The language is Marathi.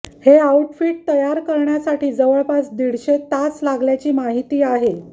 हे आउटफिट तयार करण्यासाठी जवळपास दीडशे तास लागल्याची माहिती आहे